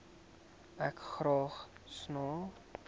ek graag sans